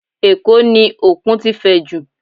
Ẹ̀kó ni Òkun ti fẹjú jù